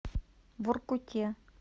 воркуте